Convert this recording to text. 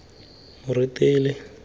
moretele